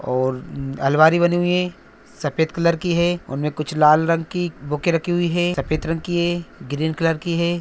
और अलमारी बनी हुई है सफेद कलर की है उनमें कुछ लाल रंग की बुके रखी हुई है सफेद रंग की है ग्रीन कलर की है।